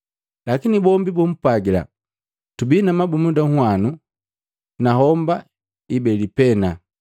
Lakini bombi bapwagila, “Tubii na mabumunda nwanu na homba ibeli pena.”